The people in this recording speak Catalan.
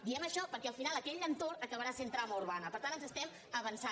diem això perquè al final aquell entorn acabarà sent trama urbana per tant ens estem avançant